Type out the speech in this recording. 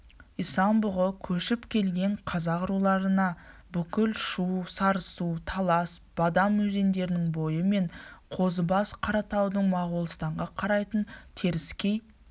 исан-бұғы көшіп келген қазақ руларына бүкіл шу сарысу талас бадам өзендерінің бойы мен қозыбас қаратаудың моғолстанға қарайтын теріскей